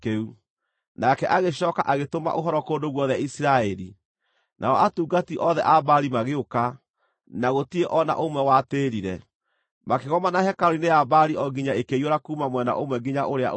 Nake agĩcooka agĩtũma ũhoro kũndũ guothe Isiraeli, nao atungati othe a Baali magĩũka; na gũtirĩ o na ũmwe watĩĩrire. Makĩgomana hekarũ-inĩ ya Baali o nginya ĩkĩiyũra kuuma mwena ũmwe nginya ũrĩa ũngĩ.